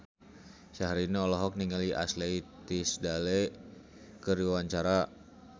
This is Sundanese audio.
Syahrini olohok ningali Ashley Tisdale keur diwawancara